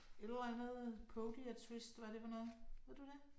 Et eller andet podiatrist, hvad er det for noget? Ved du det?